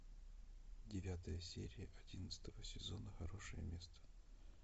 девятая серия одиннадцатого сезона хорошее место